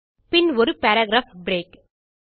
பின் ஒரு paragraph break